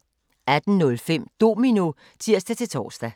18:05: Domino (tir-tor)